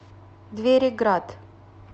двери град